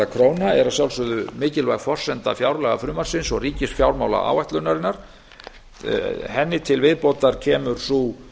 króna er að sjálfsögðu mikilvæg forsenda fjárlagafrumvarpsins og ríkisfjármálaáætlunarinnar henni til viðbótar kemur sú